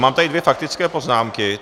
Mám tady dvě faktické poznámky.